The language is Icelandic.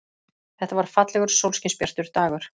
Þetta var fallegur, sólskinsbjartur dagur.